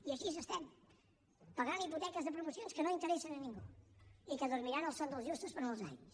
i així estem pagant hipoteques de promocions que no interessen a ningú i que dormiran el son dels justos per molts anys